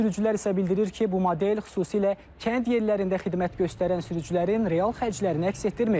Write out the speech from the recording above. Sürücülər isə bildirir ki, bu model xüsusilə kənd yerlərində xidmət göstərən sürücülərin real xərclərini əks etdirmir.